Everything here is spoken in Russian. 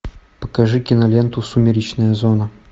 покажи киноленту сумеречная зона